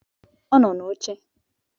Ọ nọ n'oche